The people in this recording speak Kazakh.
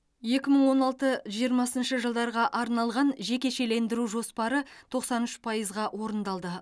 екі мың он алты жиырмасыншы жылдарға арналған жекешелендіру жоспары тоқсан үш пайызға орындалды